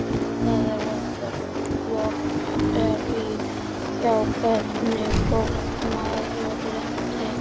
Það er algert lotterí hjá hvernig fólki maður lendir.